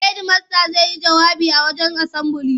Hedimasta zai yi jawabi a wajen asambili.